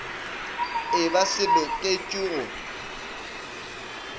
e ba se loketšwe go